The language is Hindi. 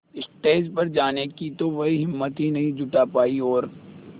स्टेज पर जाने की तो वह हिम्मत ही नहीं जुटा पाई और